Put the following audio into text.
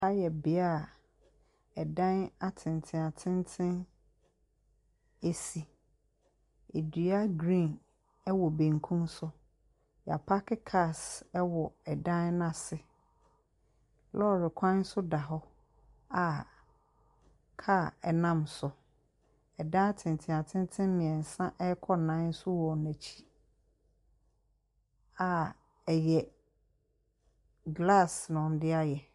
Ha yɛ bea a dan atentenatenten si. Dua green wɔ benkum so. Wɔapake cars wɔ dan no ase. Lɔre kwan nso da kɔ a kaa nam so. Dan atentenatenten mmeɛnsa rekɔ nnan nso wɔ n'akyi a ɛyɛ glass na wɔde ayɛ.